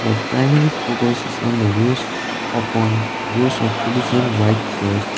the primary focus is on the rows upon rows of white chairs.